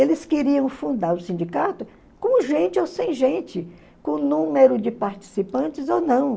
Eles queriam fundar o sindicato com gente ou sem gente, com número de participantes ou não.